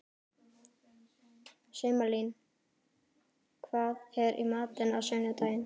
Sumarlín, hvað er í matinn á sunnudaginn?